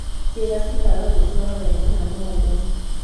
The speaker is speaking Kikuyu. Ciĩga cikaga gwĩtwara wega na no ũgwe.